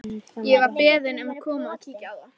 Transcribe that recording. Ég var beðinn um að koma og kíkja á það.